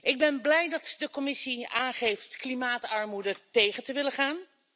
Ik ben blij dat de Commissie aangeeft klimaatarmoede tegen te willen gaan.